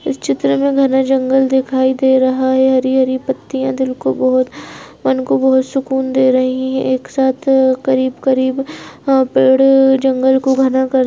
इस चित्र मे घने जंगल दिखाई दे रहा है हरी-हरी पत्तियां दिल को बहुत मन को बहुत सुकून दे रही है एक साथ करीब-करीब यहां पर जंगल को घना कर --